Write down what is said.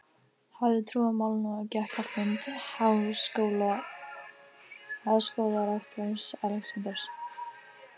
hafði trú á málinu og gekk á fund háskólarektors, Alexanders